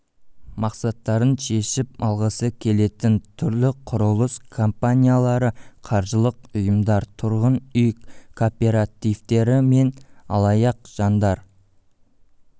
мақсаттарын шешіп алғысы келетін түрлі құрылыс компаниялары қаржылық ұйымдар тұрғын үй кооперативтері мен алаяқ жандар